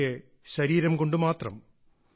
പക്ഷേ ശരീരം കൊണ്ട് മാത്രം